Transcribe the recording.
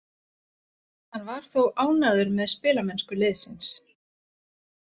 Hann var þó ánægður með spilamennsku liðsins.